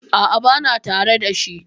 A'a, bana tare da shi.